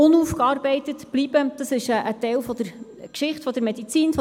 Danke, Herr Vizepräsident, Sie müssen mir schnell sagen, wozu ich sprechen soll.